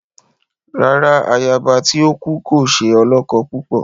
Rárá, àyaba tí o kú kò ṣe olókó púpọ